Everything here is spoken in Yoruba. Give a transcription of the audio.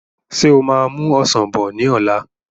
Ṣé o máa mú Ọsàn bọ̀ ni ọ̀la?